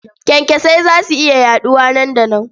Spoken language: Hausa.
Kyankyasai za su iya yaɗuwa nan da nan.